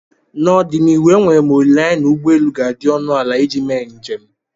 n'ọdịnihu enwere m olileanya na ụgbọ elu ga-adị ọnụ ala iji mee njem